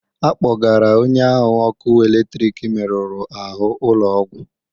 Akpọgara onye ahụ ọkụ eletrik meruru ahụ ụlọ ọgwụ.